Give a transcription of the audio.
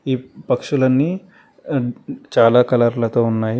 ఈ పక్షులన్నీ చాలా కలర్ లతో ఉన్నాయి.